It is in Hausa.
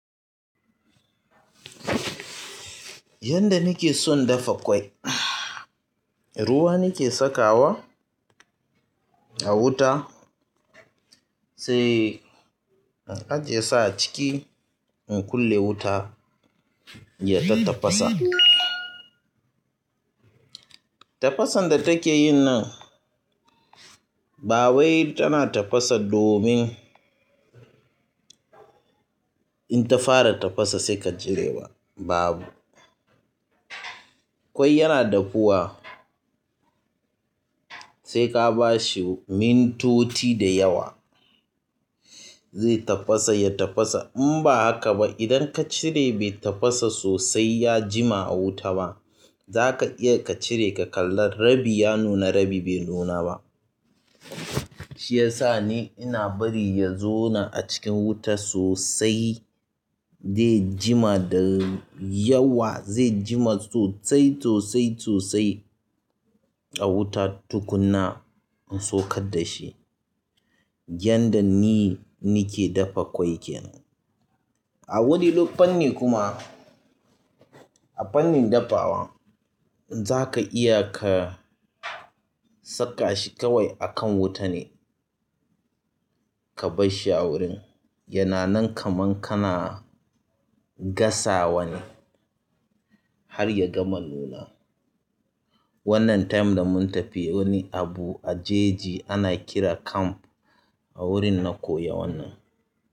Yanda nake son dafa ƙwai, ruwa nake saka wa a wuta sai a je sa a ciki in kulle wuta ya ta tafasa. Tafasan da take yin nan ba wai tana tafasa domin in ta fara tafasa sai ka cire ba babu. Ƙwai yana dafuwa sai ka bashi mintoti da yawa zai tafasa ya tafasa. In ba haka ba idan ka cire bai tafasa sosai ya jima a wuta ba, za ka iya ka cire ka kalla rabi ya nuna rabi bai nuna ba. Shi yasa ne ina bari ya zo na a cikin wuta sosai zai jima da yawa zai jima sosai, sosai, sosai a wuta tukuna in saukar da shi. Yanda ni nake dafa ƙwai kenan. A wani lokani kuma a fannin dafawa za ka iya ka saka shi kawai a kan wuta ne ka barshi a wurin. Yana nan kaman kana gasawa ne har ya gama nuna. Wannan time da mun tafi wani abu a jeji ana kira camp a wurin na koya wannan.